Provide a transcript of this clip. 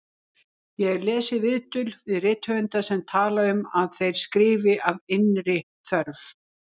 Ég hef lesið viðtöl við rithöfunda sem tala um að þeir skrifi af innri þörf.